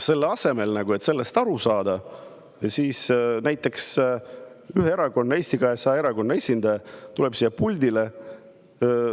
Selle asemel, et sellest aru saada, tuleb ühe erakonna, Eesti 200 erakonna esindaja siia pulti.